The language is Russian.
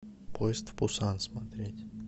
поезд в пусан смотреть